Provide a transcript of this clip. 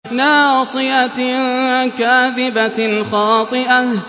نَاصِيَةٍ كَاذِبَةٍ خَاطِئَةٍ